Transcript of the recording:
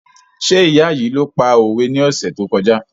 Ṣé ìyá yìí ló pa òwe ní ọ̀sẹ̀ tó kọjá?